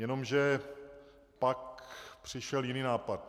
Jenomže pak přišel jiný nápad.